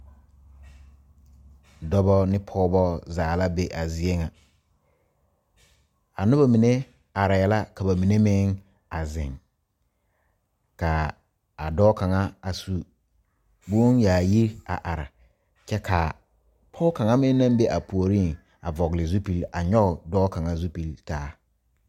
Dɔɔba ne pɔgebo zaa la be a zie ŋa a noba mine are la ka ba mine meŋ a zeŋ kaa dɔɔ kaŋa a su bon yaayiri ka pɔge kaŋa meŋ naŋ be a puori a vɔgle zupele a nyoŋ dɔɔ kaŋa zupele taa.